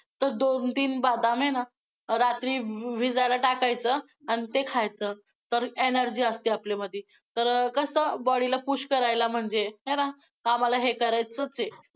तर दोन-तीन बदाम आहे ना, रात्री भिजायला टाकायचं, आन ते खायचं, तर~ energy असते आपल्यामध्ये. तर कसं body ला push करायला म्हणजे आहे ना, आम्हाला हे करायचंच आहे.